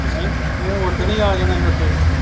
ਨਹੀਂ ਤੂੰ ਓਦਣੀ ਆ ਜਾਣਾ ਸੀ ਉੱਥੇ